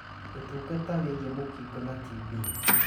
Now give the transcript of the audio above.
Ũtungata wĩgĩĩ mũkingo na TB